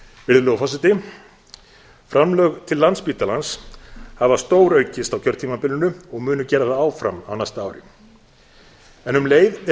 virðulegur forseti framlag til landspítalans hafa stóraukist á kjörtímabilinu og munu gera það áfram á næsta ári en um leið er